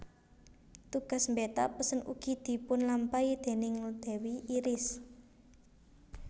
Tugas mbeta pesen ugi dipunlampahi déning dewi Iris